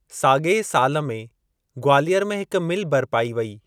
साॻिए साल में ग्वालियर में हिक मिल बर्पाई वई।